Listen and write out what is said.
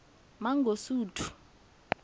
mangosuthu